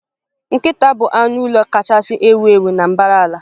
Nkịta bụ anụ ụlọ kachasị ewu ewu na mbara ala